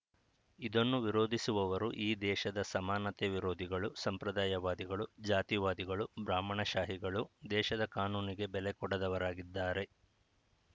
ಇದನ್ನು ವಿರೋಧಿಸುವವರು ಈ ದೇಶದ ಸಮಾನತೆ ವಿರೋಧಿಗಳು ಸಂಪ್ರದಾಯವಾದಿಗಳು ಜಾತಿವಾದಿಗಳು ಬ್ರಾಹ್ಮಣಶಾಹಿಗಳು ದೇಶದ ಕಾನೂನಿಗೆ ಬೆಲೆ ಕೊಡದವರಾಗಿದ್ದಾರೆ